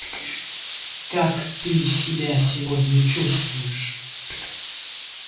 как ты себя сегодня чувствуешь